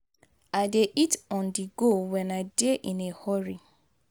i dey eat on-the-go when i dey in a hurry.